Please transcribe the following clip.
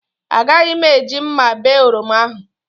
Agaghị m eji mma bee oroma ahụ